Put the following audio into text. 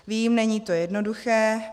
Vím, není to jednoduché.